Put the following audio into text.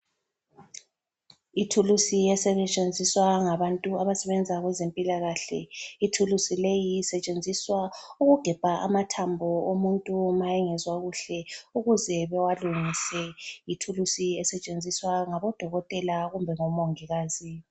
Ithulusi esetshenziswa ngabantu abasebenza kwezempilakahle. Ithulusi leyi isetshenziswa ukugebha amathambo omuntu ma engezwa kuhle ukuze bewalungise , ithulusi esetshenziswa ngabodokotela kumbe ngomongikazi